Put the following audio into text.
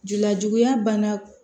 Lajuguya banna